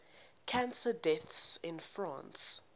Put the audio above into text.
cancer deaths in france